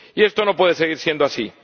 Y esto no puede seguir siendo así.